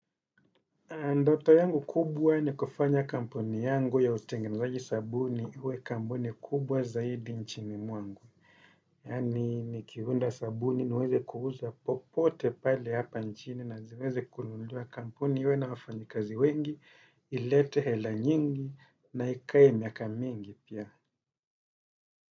Ndoto yangu kubwa ni kufanya kampuni yangu ya utengenezaji sabuni iwe kampuni kubwa zaidi nchini mwangu. Yaani nikiunda sabuni niweze kuuza popote pale hapa nchini na ziweze kununuliwa kampuni iwe na wafanyikazi wengi ilete hela nyingi na ikae miaka mingi pia.